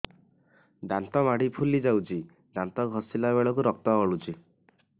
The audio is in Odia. ଦାନ୍ତ ମାଢ଼ୀ ଫୁଲି ଯାଉଛି ଦାନ୍ତ ଘଷିଲା ବେଳକୁ ରକ୍ତ ଗଳୁଛି